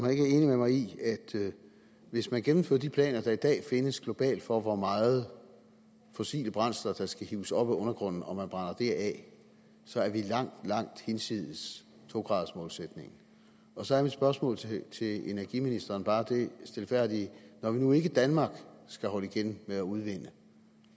er enig med mig i at hvis man gennemfører de planer der i dag findes globalt for hvor meget af fossile brændsler der skal hives op af undergrunden og man brænder det af så er vi langt langt hinsides to gradersmålsætningen så mit spørgsmål til energiministeren er bare dette stilfærdige når vi nu ikke i danmark skal holde igen med at udvinde